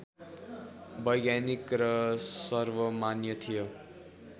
वैज्ञानिक र र्सवमान्य थियो